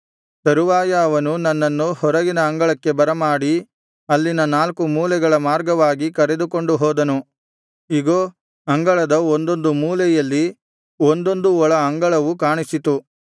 ತರುವಾಯ ಅವನು ನನ್ನನ್ನು ಹೊರಗಿನ ಅಂಗಳಕ್ಕೆ ಬರಮಾಡಿ ಅಲ್ಲಿನ ನಾಲ್ಕು ಮೂಲೆಗಳ ಮಾರ್ಗವಾಗಿ ಕರೆದುಕೊಂಡು ಹೋದನು ಇಗೋ ಅಂಗಳದ ಒಂದೊಂದು ಮೂಲೆಯಲ್ಲಿ ಒಂದೊಂದು ಒಳ ಅಂಗಳವು ಕಾಣಿಸಿತು